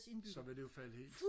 så vil det falde jo helt